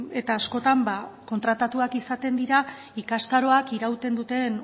eta askotan ba kontratatuak izaten dira ikastaroak irauten duten